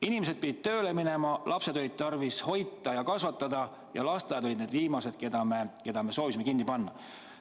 Inimesed pidid tööle minema, lapsed oli tarvis hoida ja kasvatada ning lasteaiad olid need viimased, mida me soovisime kinni panna.